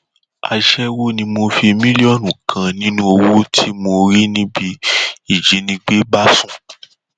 aṣẹwó ni mo fi mílíọnù kan nínú owó tí mo rí níbi ìjínigbé bá sùn